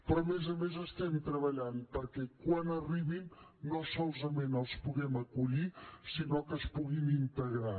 però a més a més estem treballant perquè quan arribin no solament els puguem acollir sinó que es puguin integrar